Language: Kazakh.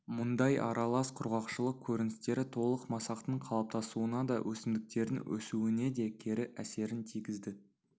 мұндай аралас құрғақшылық көріністері толық масақтың қалыптасуына да өсімдіктердің өсуіне де кері әсерін тигізді